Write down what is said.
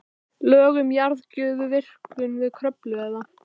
Lög um jarðgufuvirkjun við Kröflu eða